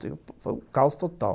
Foi um caos total.